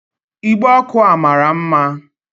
Igbe ọkụ a mara mma